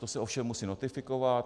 To se ovšem musí notifikovat.